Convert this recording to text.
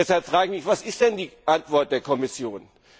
Deshalb frage ich Was ist denn die Verantwortung der Kommission?